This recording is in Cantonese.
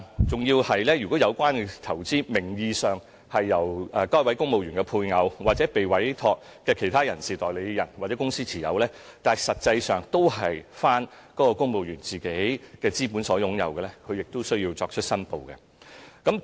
此外，如果有關投資名義上由公務員配偶或受委託的其他代理人或公司持有，但實際上由公務員以自己資本擁有的話，他亦需要申報。